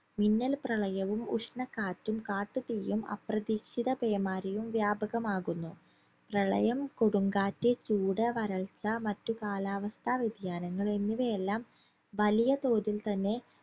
മിന്നൽപ്രളയവും ഉഷ്ണക്കാറ്റും കാട്ടുതീയും അപ്രതീക്ഷിത പേമാരിയും വ്യാപകമാകുന്നു പ്രളയം കൊടുംകാറ്റ് ചൂട് വരൾച്ച മറ്റുകാലാവസ്ഥ വ്യതിയാനങ്ങൾ എന്നിവയെല്ലാം വലിയതോതിൽ തന്നെ